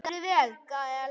Þú stendur þig vel, Gael!